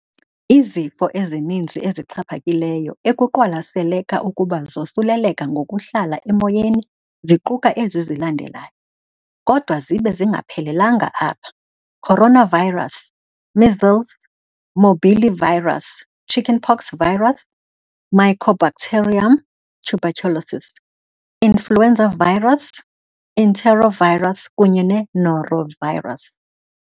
Izifo ezininzi ezixhaphakileyo ekuqwalaseleka ukuba zosuleleka ngokuhlala emoyeni ziquka ezi zilandelayo, kodwa zibe zingaphelelanga apha- coronavirus, measles morbillivirus, chickenpox virus, Mycobacterium tuberculosis, influenza virus, enterovirus, kunye ne-norovirus.